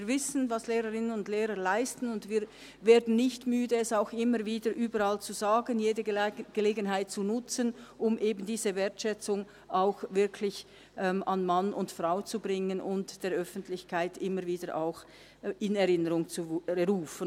Wir wissen, was Lehrerinnen und Lehrer leisten, und wir werden nicht müde, es auch immer wieder überall zu sagen, jede Gelegenheit zu nutzen, um eben diese Wertschätzung auch wirklich an Mann und Frau zu bringen und der Öffentlichkeit auch immer wieder in Erinnerung zu rufen.